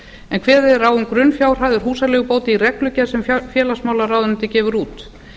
en kveðið er á um grunnfjárhæðir húsaleigubóta í reglugerð sem félagsmálaráðuneytið gefur út